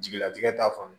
Jigilatigɛ t'a faamu